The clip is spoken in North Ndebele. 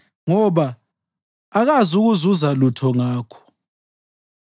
Makangazikhohlisi ngokuthemba okuyize, ngoba akazukuzuza lutho ngakho.